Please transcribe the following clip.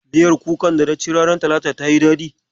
Miyar kukar dana ci ranar talata tayi daɗi.